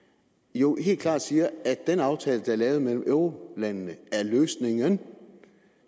jo helt klart siger at den aftale der er lavet mellem eurolandene er løsning